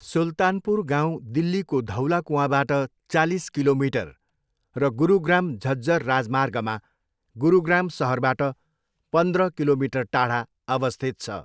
सुल्तानपुर गाउँ दिल्लीको धौला कुआँबाट चालिस किलोमिटर र गुरुग्राम झज्जर राजमार्गमा गुरुग्राम सहरबाट पन्द्र किलोमिटर टाढा अवस्थित छ।